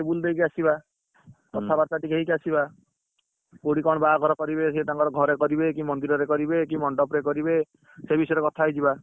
ବୁଲିଦେଇକି ଆସିବା କଥାବାର୍ତ୍ତା ଟିକେ ହେଇକି ଆସିବା, କଥାବାର୍ତ୍ତା ଟିକେ ହେଇକି ଆସିବା କୋଉଠି କଣ ବାହାଘର କରିବେ, ସିଏ ତାଙ୍କର ଘରେ କରିବେକି, ମନ୍ଦିରରେ କରିବେ, କି ମଣ୍ଡପରେ କରିବେ? ସେ ବିଷୟରେ କଥା ହେଇଯିବା,